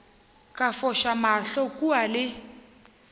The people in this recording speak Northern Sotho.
ka foša mahlo kua le